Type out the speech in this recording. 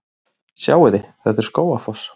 Sjáiði! Þetta er Skógafoss.